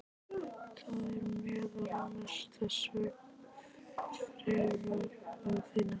Þar er meðal annars þessa fregn að finna